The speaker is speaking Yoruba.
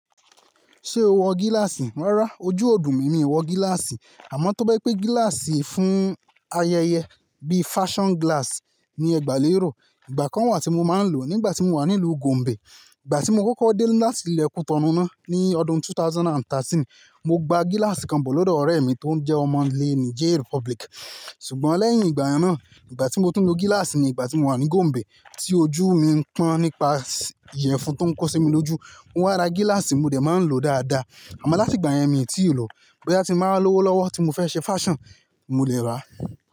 Ṣé o wọ gíláàsì? Rárá, ojú ọ̀dùn mi, mi ò wọ gíláàsì. Àmọ́ tó bá pé gíláàsì fún ayẹyẹ bí fashion glass ni ẹ gbà léèró, ìgbà kan wà tí mo máa ń lò ó nígbà tí mo wà nílùú Gombe. Ìgbà tí mo kọ́kọ́ dé láti ilẹ̀ Kútọ̀runú náà ní ọdún 2013, mo gba gíláàsì kan bọ̀ lọ́dọ̀ ọ̀rẹ́ mi tó ń jẹ́ ọmọ ilẹ̀ Niger Republic. Ṣùgbọ́n lẹ́yìn ìgbà náà, ìgbà tí mo ti ń lo gíláàsì ni ìgbà tí mo wà ní Gombe tí ojú mi ń pọ́n nípa ìyẹ̀fun tó ń kó sí mi lójú, mo wá ra gíláàsì, mo dẹ̀ máa ń lò ó dáadáa. Àmọ́ láti ìgbà yẹn mi ò tí ì lò ó. Bóyá tí mo bá lọ́wọ́lọ́wọ́ tí mo fẹ́ ṣe fashion, mo lẹ̀ rà á.